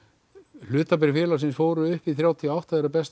hlutabréf félögins fóru upp í þrjátíu og átta þegar best